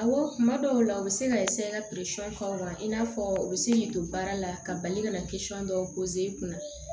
Awɔ kuma dɔw la u bɛ se ka ka k'aw la i n'a fɔ u bɛ se k'i don baara la ka bali ka na dɔw i kunna